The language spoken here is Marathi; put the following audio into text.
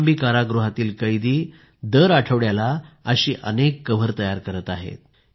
कौशांबी कारागृहातील कैदी दर आठवड्याला अनेक कवर तयार करत आहेत